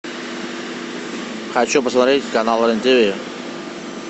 хочу посмотреть канал рен тв